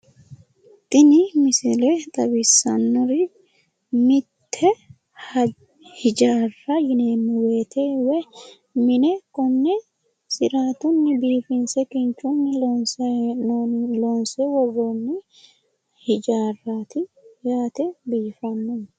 Tini misile xawissannori mitte hijaarra yineemmo woyite woyi mine konne siraatunni biifinse kinchunni loonsayi hee'noonni. Loonse worroonni hijaarraati yaate. Biifannoho.